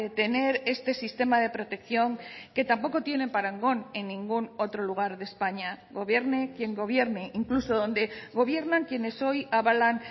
tener este sistema de protección que tampoco tiene parangón en ningún otro lugar de españa gobierne quien gobierne e incluso donde gobiernan quien es hoy avalan